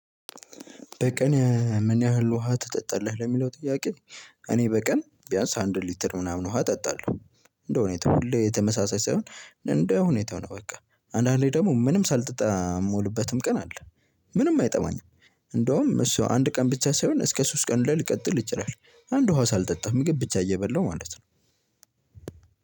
በቀን ምን ያህል ውሃ ትጠጣለህ ለሚለው ጥያቄ? እኔ በቀን ቢያንስ አንድ ሊትር ምናምን ውሃ እጠጣለሁ። እንደው እኔ ተፉልድ ሁሌ ተመሳሳይ ሳይሆን እንደ ሁኔታው ነው። በቃ አንዳንዴ ደግሞ ምንም ሳጠጣ የምውልበትም ቀን አለ። ምንም አይጠማኝም። እንደውም እሱ አንድ ቀን ብቻ ሳይሆን እስከ ሶስት ቀን ሁላ ሊቀጥል ይችላል። አንድ ውሃ ሳልጠጣ ምግብ ብቻ እየበላው ማለት ነው።